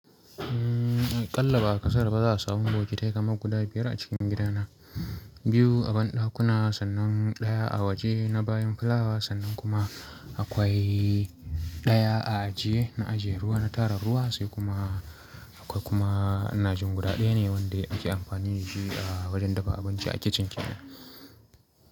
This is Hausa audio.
Umm, a ƙalla ba a ƙasaru ba za a samu bokitai kamar guda biyar a cikin gidana. Biyu a banɗakuna, sannan ɗaya a waje na bayan fulawa, sannan kuma akwai ɗaya a ajiye, na ajiye ruwa na tara ruwa, sai kuma akwai kuma inajin guda ɗaya ne wanda ake amfani da shi a wajen dafa abinci a kicin kenan.